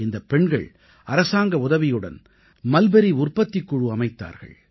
இந்தப் பெண்கள் அரசாங்க உதவியுடன் மல்பரி உற்பத்திக் குழு அமைத்தார்கள்